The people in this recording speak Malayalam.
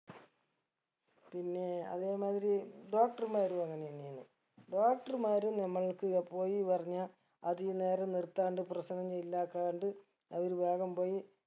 പിന്നെ അതേമാതിരി doctor മാരു അങ്ങനെ തന്നെയാണ് doctor മാരും നമ്മൾക്ക് പോയി പറഞ്ഞ അധികം നേരം നിർത്താണ്ട് പ്രശ്നം ഇല്ലാക്കാണ്ട് അവര് വേഗം പോയി